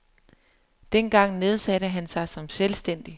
Dengang nedsatte han sig som selvstændig.